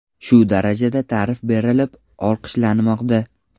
Shu darajada ta’rif berilib, olqishlanmoqda.